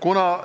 Kuna